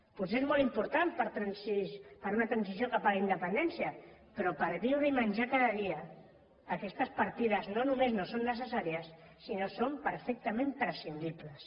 potser és molt important per a una transició cap a la independència però per viure i menjar cada dia aquestes partides no només no són necessàries sinó que són perfectament prescindibles